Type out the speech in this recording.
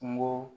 Kungo